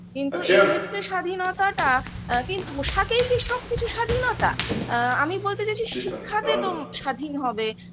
কিন্তু এক্ষেত্রে স্বাধীনতাটা কি পোশাকেই কি সবকিছু স্বাধীনতা আ আমি বলতে চাইছি শিক্ষাতে তো স্বাধীন হবে